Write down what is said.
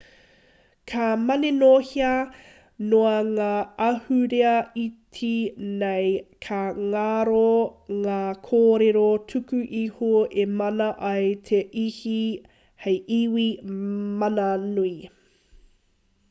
ka maninohea noa ngā ahurea iti nei ka ngaro ngā kōrero tuku iho e mana ai te iwi hei iwi mananui